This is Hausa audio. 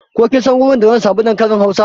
Ko kin san wurin da zan samu dankalin hausa?